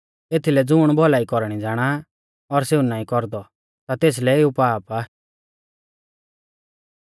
एथीलै ज़ुण भौलाई कौरणी ज़ाणा और सेऊ नाईं कौरदौ ता तेसलै एऊ पाप आ